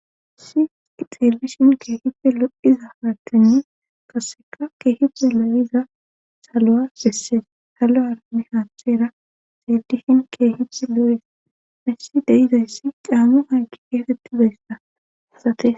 Si ixeellishin keehife loddhiza paartenne kaseka keehipe lo7iza salo7a gesse salo arami haantchera xedishin keehici loores missi deyizayssi caammu haggi geetetti beysda asate